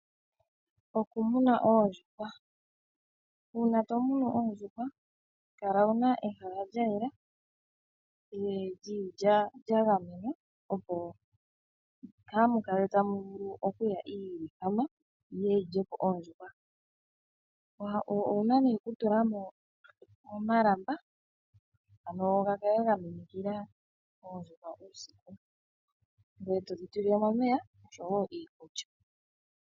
Okumuna oondjuhwa. Uuna tomunu oondjuhwa kala wuna ehala lyayela , lya gamenwa opo kamu kale tamu vulu okuya iilikama yiye yilyepo oondjuhwa. Owuna okutulamo omalamba ano gakale ga minikila oondjuhwa uusiku . Ngoye to dhitulilemo omeya oshowo iikulya.